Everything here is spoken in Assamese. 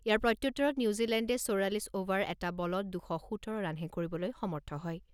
ইয়াৰ প্ৰত্যুত্তৰত নিউজিলেণ্ডে চৌৰাল্লিছ অভাৰ এটা বলত দুশ সোতৰ ৰানহে কৰিবলৈ সমৰ্থ হয়।